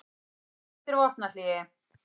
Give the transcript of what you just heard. Hann kallar eftir vopnahléi